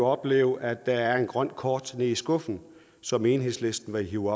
opleve at der er et grønt kort nede i skuffen som enhedslisten vil hive